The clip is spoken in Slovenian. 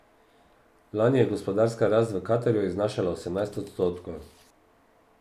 Lani je gospodarska rast v Katarju znašala osemnajst odstotkov.